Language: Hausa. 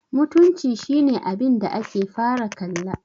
mutunci shi ne abinda ake fara kalla